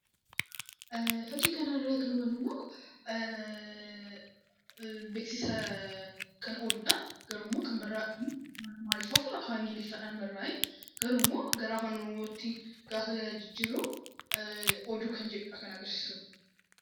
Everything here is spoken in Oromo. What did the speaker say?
Fakkii kanarraa kan hubannuu immoo beeksisa kan oduudha. Oduun kunimmoo Amaariffa fi afaan Ingiliffaan barraa'e. Garuummoo gara afaan Oromootti gaafa jijjiirru oduu kan jedhuudha kan agarsiisu.